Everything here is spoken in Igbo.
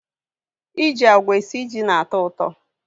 I ji àgwà esi ji na-atọ ụtọ.